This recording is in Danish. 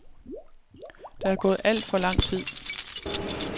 Der er gået alt for lang tid.